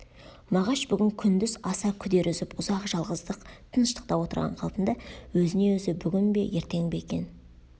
мағаш бүгін күндіз аса күдер үзіп ұзақ жалғыздық тыныштықта отырған қалпында өзіне өзі бүгін бе ертең бе екен